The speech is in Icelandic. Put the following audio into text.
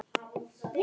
Í lögum